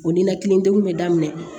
O ninakili degun bɛ daminɛ